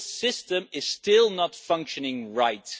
This system is still not functioning right.